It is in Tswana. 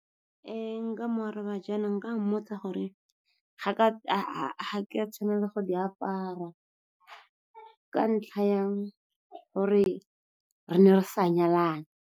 Nka mo araba jaana, nka mmotsa gore ga ke a tshwanela go di apara ka ntlha ya gore re ne re sa nyalana.